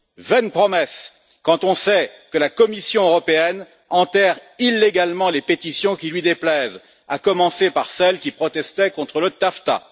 Vaine promesse, quand on sait que la Commission européenne enterre illégalement les pétitions qui lui déplaisent, à commencer par celles qui protestaient contre le TAFTA.